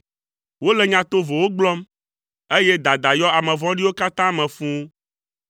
Wole nya tovowo gblɔm, eye dada yɔ ame vɔ̃ɖiwo katã me fũu.